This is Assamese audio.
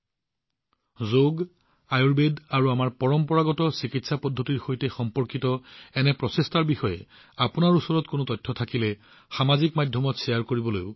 মই আপোনালোকক অনুৰোধ জনাইছো যে যদি যোগ আয়ুৰ্বেদ আৰু আমাৰ পৰম্পৰাগত চিকিৎসা পদ্ধতিৰ সৈতে সম্পৰ্কিত এনে প্ৰচেষ্টাৰ বিষয়ে আপোনালোকৰ ওচৰত কোনো তথ্য থাকে তেন্তে সেইবোৰ সামাজিক মাধ্যমত শ্বেয়াৰ কৰক